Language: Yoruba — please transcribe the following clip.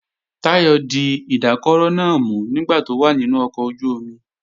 Táyọ̀ di ìdákọrò náà mú nígbà tó wà nínú ọkọ̀ ojú-omi